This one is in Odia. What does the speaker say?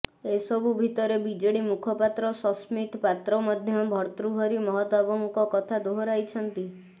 ଏସବୁ ଭିତରେ ବିଜେଡି ମୁଖପାତ୍ର ସସ୍ମିତ ପାତ୍ର ମଧ୍ୟ ଭର୍ତ୍ତୃହରି ମହତାବଙ୍କ କଥା ଦୋହରାଇଛନ୍ତି